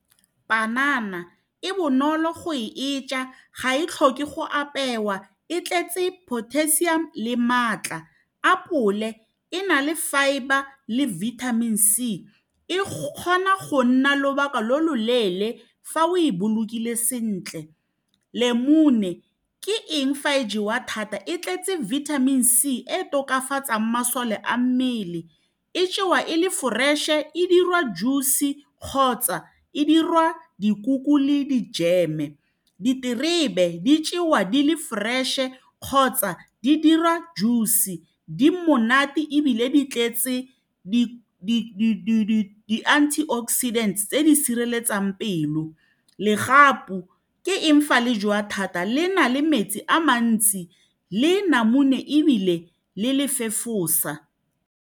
Panana e bonolo go e ja ga e tlhoke go apewa, e tletse potassium le maatla, apole e na le fibre le vitamin c e kgona go nna lobaka lo lo leele fa o e bolokile sentle lemune ke eng fa e jewa thata e tletse vitamin c e tokafatsang masole a mmele e jewa e le fresh-e dirwa juice kgotsa e dirwa dikuku le di-jam-e diterebe di jewa di le fresh-e kgotsa di dirwa juice di monate ebile di tletse di-antioxidants tse di sireletsang pelo legapu ke eng fa le jwa thata le na le metsi a mantsi le namune ebile le le fefosa.